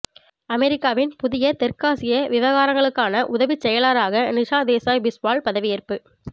அமெரிக்காவின் புதிய தெற்காசிய விவகாரங்களுக்கான உதவிச்செயலராக நிஷா தேசாய் பிஸ்வால் பதவியேற்பு